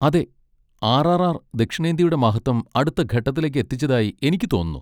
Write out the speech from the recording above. അതെ, ആർ.ആർ.ആർ. ദക്ഷിണേന്ത്യയുടെ മഹത്വം അടുത്ത ഘട്ടത്തിലേക്ക് എത്തിച്ചതായി എനിക്ക് തോന്നുന്നു.